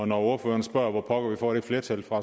når ordføreren spørger om hvor pokker vi får det flertal fra